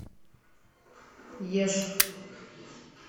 еж